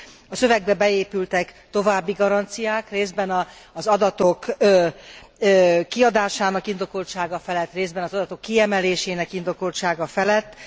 A szövegbe beépültek további garanciák részben az adatok kiadásának indokoltsága felett, részben az adatok kiemelésének indokoltsága felett.